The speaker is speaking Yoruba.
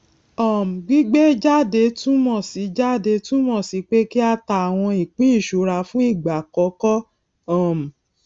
um gbígbé jáde túnmọ sí jáde túnmọ sí pé kí á ta àwọn ìpín ìṣura fún ìgbà àkọkọ um